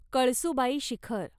Kalsubai Shikhar